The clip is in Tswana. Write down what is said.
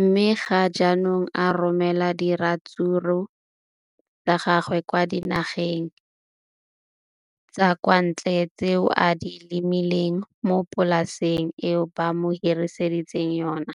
mme ga jaanong o romela diratsuru tsa gagwe kwa dinageng tsa kwa ntle tseo a di lemileng mo polaseng eo ba mo hiriseditseng yona.